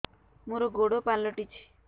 ମୋର ଗୋଡ଼ ପାଲଟିଛି